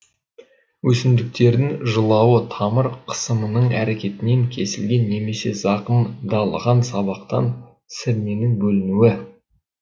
өсімдіктердің жылауы тамыр қысымының әрекетінен кесілген немесе зақымдалған сабақтан сірненің бөлінуі